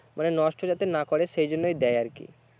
মানে নষ্ট যাতে না করে সেই জন্যেই দেয় আর কি